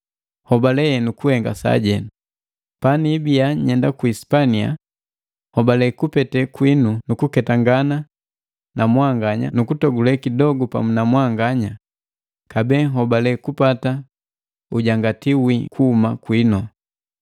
nhobale henu kuhenga sajenu. Paniibia nyenda ku Sipania nhobale kupete kwiinu nukuketangana na mwanganya nukutogule kidogu pamu na mwanganya kabee nhobale kupata ujangati wii kuhuma kwinu.